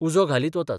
उजो घालीत वतात.